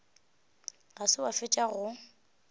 ga se wa fetša go